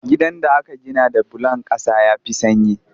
Gidan da aka gina da bulon ƙasa ya fi sanyi